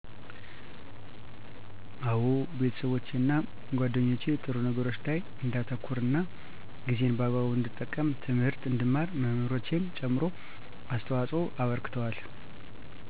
አወ ቤተሠቦቼና ጌደኞቸ ጥሩ ነገሮች ላይ እንዳተኩር እና ጊዜን በአግቡ እንድጠቀም ትምህርት እንድማር መምህሮቸም ጨምሮ አስተዋፅኦ አበርክተዋል